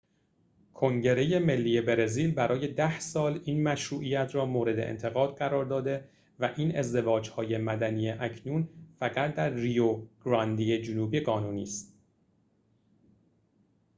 کنگره ملی برزیل برای ۱۰ سال این مشروعیت را مورد انتقاد قرار داده و این ازدواج‌های مدنی اکنون فقط در ریو گرانده جنوبی قانونی است